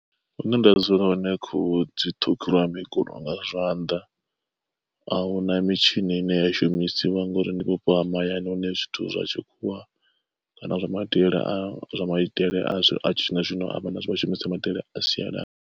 Hune nda dzula hone khuhu dzi ṱhukhuliwa mikulo nga zwanḓa. Ahuna mitshini ine ya shumisiwa ngori ndi vhupo ha mahayani hune zwithu zwa tshikhuwa kana zwa maitele a zwa maitele a zwino vhashumisa maitele a sialala.